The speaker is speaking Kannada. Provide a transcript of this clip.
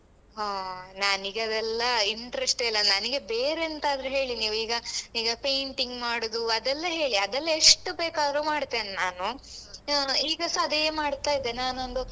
ಹಾ ನನಿಗೆ ಅದೆಲ್ಲ interest ಇಲ್ಲ ನನಗೆ ಬೇರೆಂತಾದ್ರೂ ಹೇಳಿ ನೀವೀಗ ಈಗ painting ಮಾಡುದು ಅದೆಲ್ಲ ಹೇಳಿ ಅದೆಲ್ಲ ಎಷ್ಟು ಬೇಕಾದ್ರೂ ಮಾಡ್ತೇನ್ ನಾನು ಹ್ಮ್ ಈಗ ಸ ಅದೇ ಮಾಡ್ತಾ ಇದ್ದೇನೆ ನಾನೊಂದು.